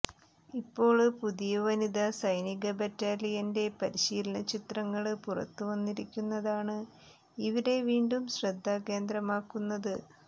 ഇപ്പോള് പുതിയ വനിതാ സൈനിക ബറ്റാലിയന്റെ പരിശീലനചിത്രങ്ങള് പുറത്തുവന്നിരിക്കുന്നതാണ് ഇവരെ വീണ്ടും ശ്രദ്ധാകേന്ദ്രമാക്കുന്നത്